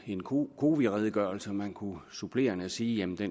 en cowi redegørelse og man kunne supplerende sige at